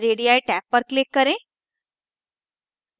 radii tab पर click करें